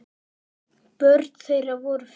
Börn þeirra voru fimm.